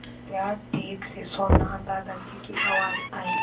सत्या ठीक से सोना दादाजी की आवाज़ आई